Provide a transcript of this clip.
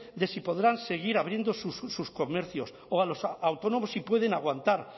de si podrán seguir abriendo sus comercios o a los autónomos si pueden aguantar